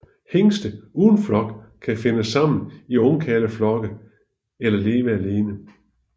Hingste uden flok kan finde sammen i ungkarleflokke eller leve alene